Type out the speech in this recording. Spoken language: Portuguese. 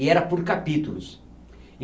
E era por capítulos.